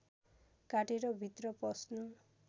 काटेर भित्र पस्नु